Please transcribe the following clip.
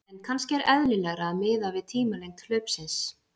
En kannski er eðlilegra að miða við tímalengd hlaupsins.